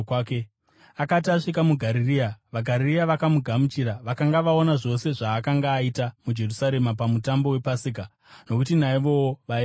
Akati asvika muGarirea, vaGarirea vakamugamuchira. Vakanga vaona zvose zvaakanga aita muJerusarema pamutambo wePasika, nokuti naivowo vaivapo.